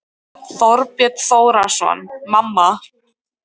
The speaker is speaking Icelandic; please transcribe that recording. Þorbjörn Þórðarson: Mamma?